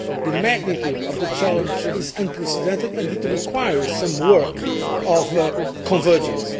The magnitude of the challenge is unprecedented and it requires some work of convergence.